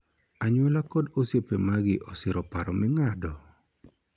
Anyuola kod osiepe magi osiro paro ming'ado?